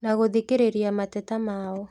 Na gũthikĩrĩria mateta mao